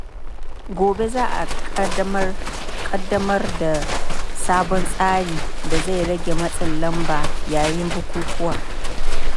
Gobe za a ƙaddamar da sabon tsarin da zai rage matsin lamba yayin bukukkuwa.